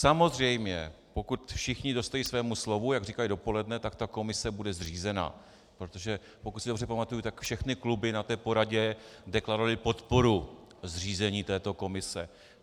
Samozřejmě pokud všichni dostojí svému slovu, jak říkali dopoledne, tak ta komise bude zřízena, protože pokud se dobře pamatuji, tak všechny kluby na té poradě deklarovaly podporu zřízení této komise.